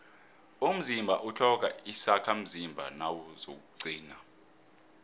umzimba utlhoga izakhamzimba nawuzakuqina